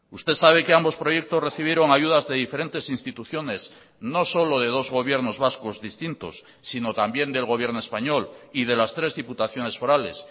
usted sabe que ambos proyectos recibieron ayudas de diferentes instituciones no solo de dos gobiernos vascos distintos sino también del gobierno español y de las tres diputaciones forales